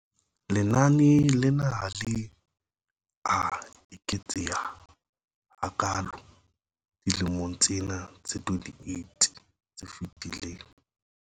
Lenane lena ha le a eketseha hakaalo dilemong tsena tse 28 tse fetileng.